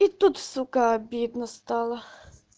и тут сука обидно стало